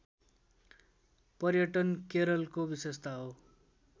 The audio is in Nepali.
पर्यटन केरलको विशेषता हो